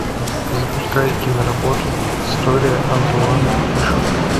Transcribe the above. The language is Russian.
запускай киноработу история антуана фишера